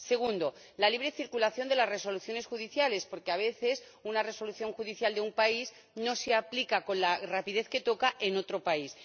segundo, la libre circulación de las resoluciones judiciales porque, a veces, una resolución judicial de un país no se aplica con la rapidez que toca en otro país